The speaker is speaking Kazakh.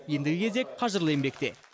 ендігі кезек қажырлы еңбекте